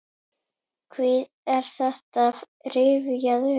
Hví er þetta rifjað upp?